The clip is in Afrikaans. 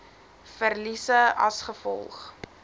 verliese as gevolg